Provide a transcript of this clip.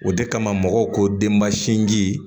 O de kama mɔgɔw ko denba sinji